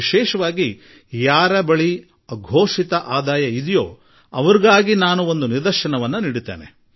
ನಾನು ವಿಶೇಷವಾಗಿ ಅಘೋಷಿತ ವರಮಾನ ಇರುವವರಿಗೆ ಒಂದು ವಿಶೇಷ ಉದಾಹರಣೆ ಸಾದರಪಡಿಸಲು ಬಯಸುವೆ